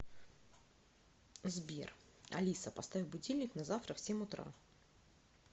сбер алиса поставь будильник на завтра в семь утра